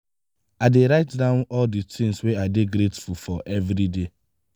i dey write down all di tins wey i dey grateful for everyday.